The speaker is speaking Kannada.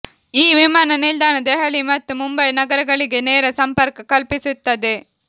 ಈ ವಿಮಾನ ನಿಲ್ದಾಣ ದೆಹಲಿ ಮತ್ತು ಮುಂಬೈ ನಗರಗಳಿಗೆ ನೇರ ಸಂಪರ್ಕ ಕಲ್ಪಿಸುತ್ತದೆ